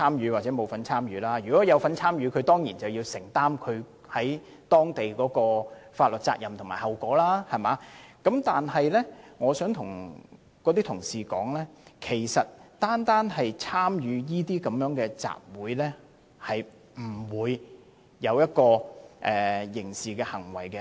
如果該名居民有參與過激行為，當然要按當地法律承擔責任和後果，但如果該名居民只是參與集會，便不會被視為作出刑事行為。